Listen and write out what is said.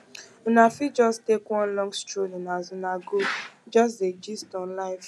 una fit jus take one long strolling as una go jus dey gist on life